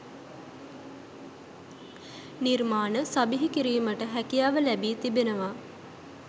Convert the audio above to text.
නිර්මාණ සබිහිකිරීමට හැකියාව ලැබී තිබෙනවා